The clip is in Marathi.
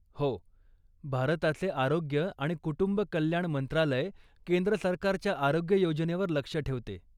हो. भारताचे आरोग्य आणि कुटुंब कल्याण मंत्रालय केंद्र सरकारच्या आरोग्य योजनेवर लक्ष ठेवते.